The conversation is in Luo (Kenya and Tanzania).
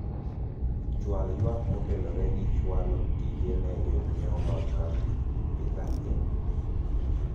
chwal ywak motenore gi chwalo tije ne jonyiewo mag kampi pizza inn